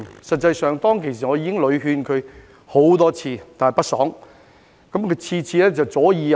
實際上，當時我已經勸他很多次，但屢勸不爽。